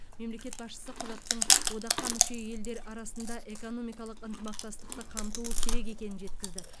мемлекет басшысы құжаттың одаққа мүше елдер арасындағы экономикалық ынтымақтастықты қамтуы керек екенін жеткізді